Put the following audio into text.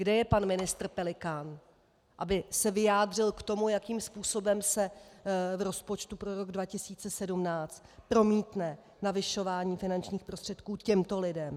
Kde je pan ministr Pelikán, aby se vyjádřil k tomu, jakým způsobem se v rozpočtu pro rok 2017 promítne navyšování finančních prostředků těmto lidem?